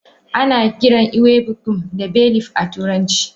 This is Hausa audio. Anakiran ewe bunkum da Bay leaf a turance.